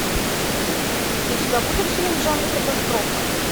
у тебя будет фильм в жанре катастрофа